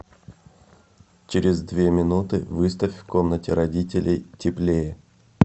через две минуты выставь в комнате родителей теплее